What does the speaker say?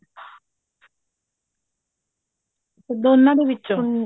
ਦੋਨਾ ਦੇ ਵਿਚੋਂ